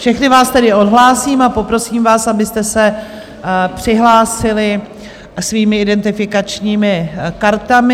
Všechny vás tedy odhlásím a poprosím vás, abyste se přihlásili svými identifikačními kartami.